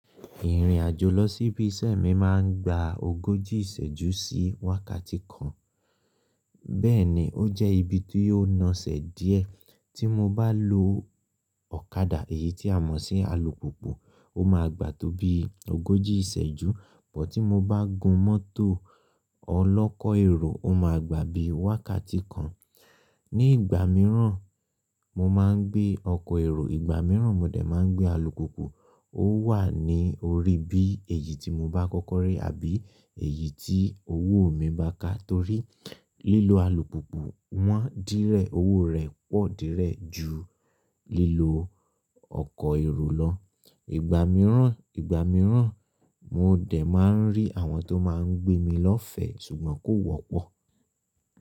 Ìrìn àjò lọ sí ibi iṣẹ́ mi máa ń gba ogójì ìṣẹ́jú sí wákàtí kan. Bẹ́ẹ̀ ni, ó jẹ́ ibi tí yóò naṣẹ̀ díẹ̀ tí mo bá lo ọ̀kadà èyí tí a mọ̀ sí alùpùpù, ó máa gbà tó bí ogójì ìṣẹ́jú, but tí mo bá gun mọ́tò ọ lọ́kọ̀ èrò, ó máa gbà bí wákàtí kan. Ní ìgbà mìíràn, mo máa ń gbé ọkọ̀ èrò, ìgbà mìíràn mo dẹ̀ máa ń gbé alùpùpù. Ó wà ní orí bí èyí tí mo bá kọ́kọ́ rí àbí èyí tí owó mi bá ká torí lílo alùpùpù wọn dírẹ̀, owó rẹ̀ pọ̀ dírẹ̀ ju lílo ọkọ̀ èrò lọ. Ìgbà mìíràn, ìgbà mìíràn mo dẹ̀ máa ń rí àwọn tó máa ń gbé mi lọ́fẹ̀ẹ́ ṣùgbọ́n kò wọ́pọ̀.